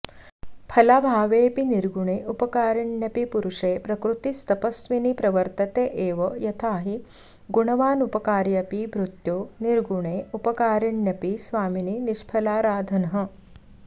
फलाभावेऽपि निर्गुणे उपकारिण्यपि पुरुषे प्रकृतिस्तपस्विनी प्रवर्तते एव यथाहि गुणवानुपकार्यपि भृत्यो निर्गुणे उपकारिण्यपि स्वामिनि निष्फलाराधनः